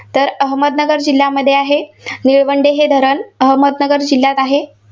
तर अहमदनगर जिल्ह्यामध्ये आहे. निळवंडे हे धरण अहमदनगर जिल्ह्यात आहे.